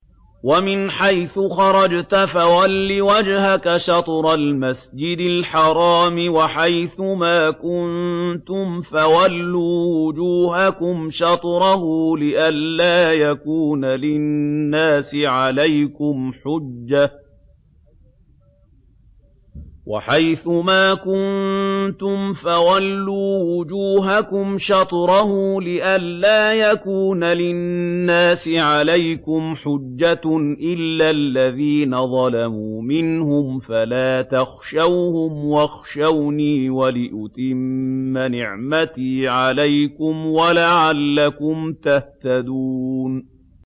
وَمِنْ حَيْثُ خَرَجْتَ فَوَلِّ وَجْهَكَ شَطْرَ الْمَسْجِدِ الْحَرَامِ ۚ وَحَيْثُ مَا كُنتُمْ فَوَلُّوا وُجُوهَكُمْ شَطْرَهُ لِئَلَّا يَكُونَ لِلنَّاسِ عَلَيْكُمْ حُجَّةٌ إِلَّا الَّذِينَ ظَلَمُوا مِنْهُمْ فَلَا تَخْشَوْهُمْ وَاخْشَوْنِي وَلِأُتِمَّ نِعْمَتِي عَلَيْكُمْ وَلَعَلَّكُمْ تَهْتَدُونَ